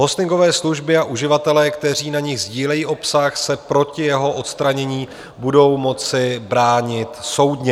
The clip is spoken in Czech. Hostingové služby a uživatelé, kteří na nich sdílejí obsah, se proti jeho odstranění budou moci bránit soudně.